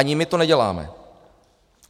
Ani my to neděláme.